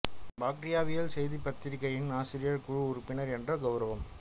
பாக்டீரியாவியல் செய்திப் பத்திரிகையின் ஆசிரியர் குழு உறுப்பினர் என்ற கௌரவம்